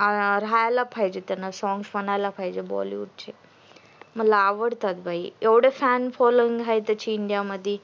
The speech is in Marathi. हा राहायला पाहिजे त्यांनी songs म्हणायला पाहिजे बॉलीवुड चे मला आवडतात बाई एवहडे छान following आहे त्याची इंडिया मधी